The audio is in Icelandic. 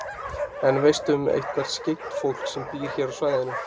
En veistu um eitthvert skyggnt fólk sem býr hér á svæðinu?